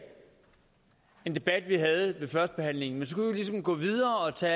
den debat vi havde førstebehandlingen så ligesom gå videre og tage